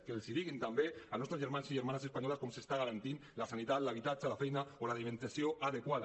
que els diguin també als nostres germans i germanes espanyoles com s’està garantint la sanitat l’habitatge la feina o l’alimentació adequada